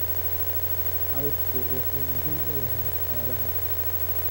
Cawsku wuxuu muhiim u yahay xoolaha.